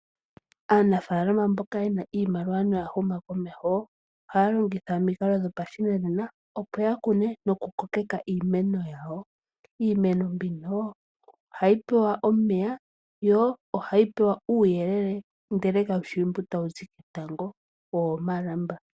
Aanafaalama mboka ye na iimaliwa noya huma komeho, ohaya longitha omikalo dhopashinanena opo ya kune nokukokeka iiimeno yawo. Iimeno mbino oha yi pewa omeya, yo ohayi pewa uuyelele ndele kaushi mbu tawu zi ketango ihe owomalamba.